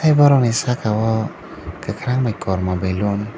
borokni sakao kwkhwrang bai kormo baloon.